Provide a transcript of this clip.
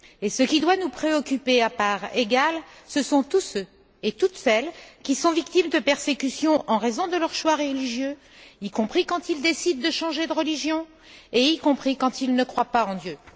Ce qui doit nous préoccuper à parts égales, ce sont tous ceux et toutes celles qui victimes de persécutions en raison de leurs choix religieux, y compris quand ils décident de changer de religion et y compris quand ils ne croient pas en Dieu.